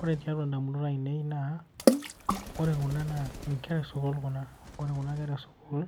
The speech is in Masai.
Ore tiatua ndamunot ainei naa ore kuna naa nkera esukul kuna .Ore kuna kera esukul